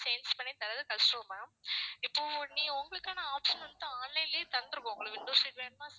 change பண்ணி தர்றது கஷ்டம் ma'am இப்போ நீ உங்களுக்கான option வந்து online லையே தந்துருவோம் உங்களுக்கு window seat வேணும்னா